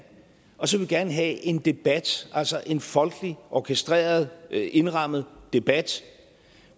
og så vil vi gerne have en debat altså en folkeligt orkestreret og indrammet debat